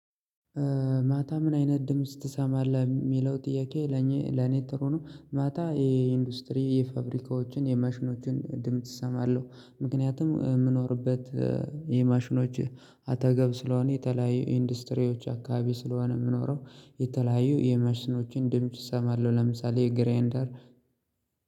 ማታ ምን አይነት ድምጽ ትሰማለህ የሚለው ጥያቄ ለኔ ጥሩ ነው ማታ የኢንዱስትሪ የፋብሪካዎችን የማሽኖችን ድምጽ እሰማለሁ። ምክንያቱም የምኖርበት የማሽኖች አጠገብ ስለሆነ የተለያዩ ኢንዱስትሪዎች አካባቢ ስለሆነ የምኖረው የተለያዩ የማሽኖችን ድምጽ እሰማለሁ ለምሳሌ ግራይንደር